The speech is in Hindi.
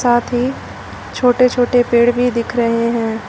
साथ ही छोटे छोटे पेड़ भी दिख रहे हैं।